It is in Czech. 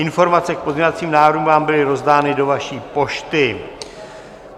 Informace k pozměňovacím návrhům vám byly rozdány do vaší pošty.